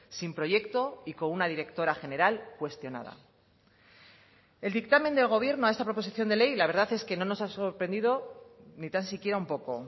sin proyecto y con una directora general cuestionada el dictamen del gobierno a esta proposición de ley la verdad es que no nos ha sorprendido ni tan siquiera un poco